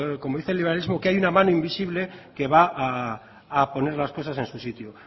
como dice el liberalismo que hay una mano invisible que va a poner las cosas en su sitio